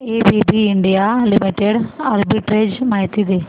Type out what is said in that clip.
ABB India limited arbitrage माहिती दे